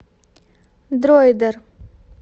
дроидер